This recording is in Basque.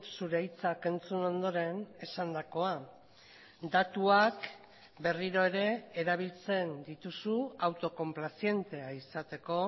zure hitzak entzun ondoren esandakoa datuak berriro ere erabiltzen dituzu autokonplazientea izateko